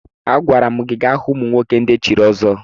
Agwara m gi gaa hụ ụmụnwoke ndị echiri ọzọ!